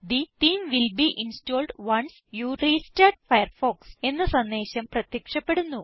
the theme will be installed once you restart Firefox എന്ന സന്ദേശം പ്രത്യക്ഷപ്പെടുന്നു